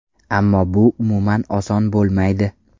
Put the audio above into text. Ammo bu umuman oson bo‘lmaydi.